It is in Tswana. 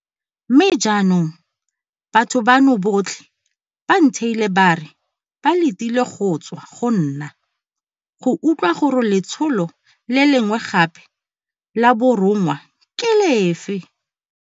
Mme jaanong, batho bano botlhe ba ntheile ba re ba letile go tswa go nna go utlwa gore letsholo le lengwe gape la borongwa ke lefe.